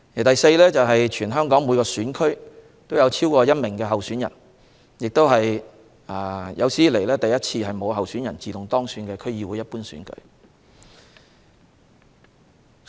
第四，全港每個選區都有超過1名候選人，也是有史以來首次區議會一般選舉沒有候選人自動當選。